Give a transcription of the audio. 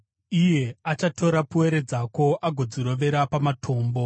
iye achatora pwere dzako agodzirovera pamatombo.